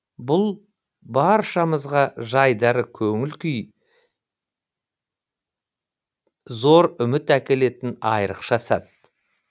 бұл баршамызға жайдары көңіл күй зор үміт әкелетін айрықша сәт